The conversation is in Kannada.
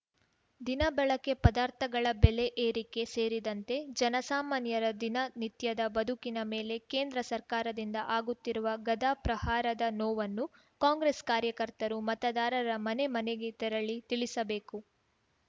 ದಿನ ಬಳಕೆ ಪದಾರ್ಥಗಳ ಬೆಲೆ ಏರಿಕೆ ಸೇರಿದಂತೆ ಜನ ಸಾಮಾನ್ಯರ ದಿನ ನಿತ್ಯದ ಬದುಕಿನ ಮೇಲೆ ಕೇಂದ್ರ ಸರ್ಕಾರದಿಂದ ಆಗುತ್ತಿರುವ ಗದಾ ಪ್ರಹಾರದ ನೋವನ್ನು ಕಾಂಗ್ರೆಸ್‌ ಕಾರ್ಯಕರ್ತರು ಮತದಾರರ ಮನೆ ಮನೆಗೆ ತೆರಳಿ ತಿಳಿಸಿಬೇಕು